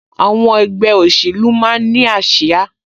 Àwọn ẹgbẹ́ òṣèlú máa ń ní ásíá